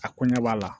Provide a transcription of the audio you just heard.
A ko ɲɛ b'a la